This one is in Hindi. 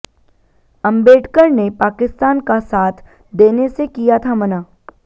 अंबेडकर ने पाकिस्तान का साथ देने से किया था मना